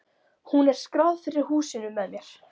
Hún er skráð fyrir húsinu með mér.